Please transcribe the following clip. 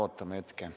Ootame hetke.